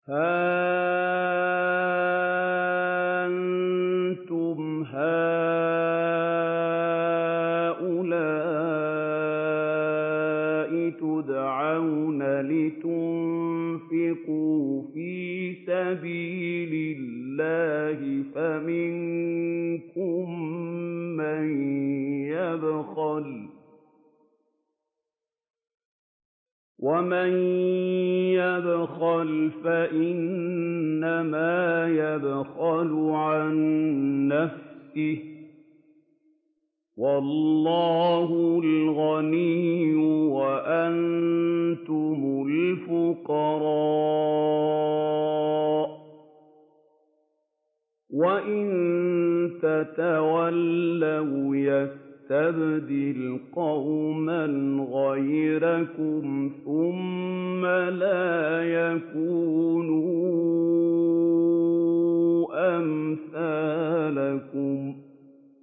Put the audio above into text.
هَا أَنتُمْ هَٰؤُلَاءِ تُدْعَوْنَ لِتُنفِقُوا فِي سَبِيلِ اللَّهِ فَمِنكُم مَّن يَبْخَلُ ۖ وَمَن يَبْخَلْ فَإِنَّمَا يَبْخَلُ عَن نَّفْسِهِ ۚ وَاللَّهُ الْغَنِيُّ وَأَنتُمُ الْفُقَرَاءُ ۚ وَإِن تَتَوَلَّوْا يَسْتَبْدِلْ قَوْمًا غَيْرَكُمْ ثُمَّ لَا يَكُونُوا أَمْثَالَكُم